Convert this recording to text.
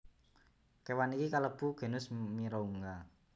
Kéwan iki kalebu genus Mirounga